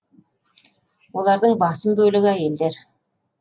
олардың басым бөлігі әйелдер